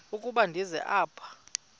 ukuba ndize apha